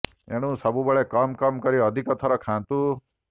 ଏଣୁ ସବୁବେଳେ କମ୍ କମ୍ କରି ଅଧିକ ଥର ଖାଆନ୍ତୁ